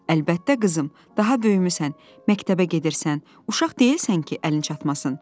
Əlbəttə, qızım, daha böyümüsən, məktəbə gedirsən, uşaq deyilsən ki, əlin çatmasın.